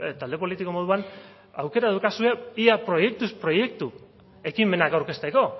talde politiko moduan aukera daukazue ia proiektuz proiektu ekimenak aurkezteko